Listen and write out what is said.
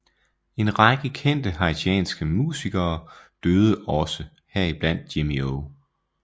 En række kendte haitianske musikere døde også heriblandt Jimmy O